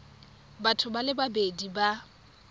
batho ba le babedi ba